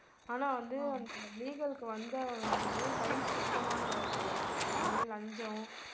ஆனா வந்து அந்த legal க்கு வந்தவர் வந்து கை சுத்தமான ஆள் போலிருக்கு இந்தமாதிரி லஞ்சம்